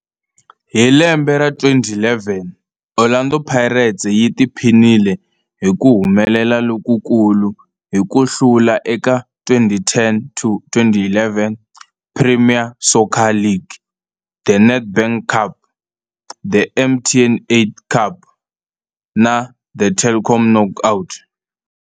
Hi lembe ra 2011, Orlando Pirates yi tiphinile hi ku humelela lokukulu hi ku hlula eka 2010-11 Premier Soccer League, The Nedbank Cup, The MTN 8 Cup na The Telkom Knockout.